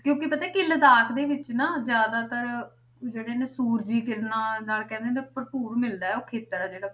ਕਿਉਂਕਿ ਪਤਾ ਕੀ ਲਦਾਖ ਦੇ ਵਿੱਚ ਨਾ ਜ਼ਿਆਦਾਤਰ ਜਿਹੜੇ ਨੇ ਸੂਰਜੀ ਕਿਰਨਾਂ ਨਾਲ ਕਹਿੰਦੇ ਨੇ ਭਰਪੂਰ ਮਿਲਦਾ ਹੈ ਉਹ ਖੇਤਰ ਆ ਜਿਹੜਾ।